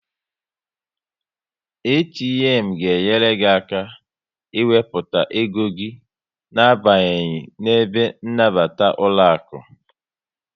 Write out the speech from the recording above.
ATM ga enyere gị aka ị wepụta ego gị na abanyeghi n'ebe nnabata ụlọaku